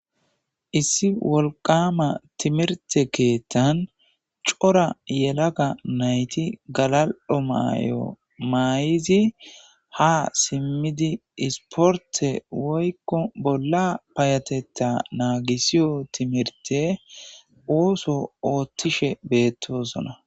Issi timirte kethan cora yelaga nayti galal'o mayo mayida ha simidi isporte woyko bolla payatetho nagisiyo timirte osso othishe betosonn